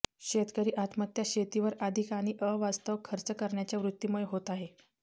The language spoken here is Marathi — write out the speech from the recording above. शेतकरी आत्महत्या शेतीवर अधिक आणि अवास्तव खर्च करण्याच्या वृत्तीमुळे होत आहे